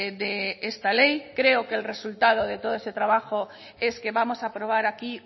de esta ley creo que el resultado de todo este trabajo es que vamos a aprobar aquí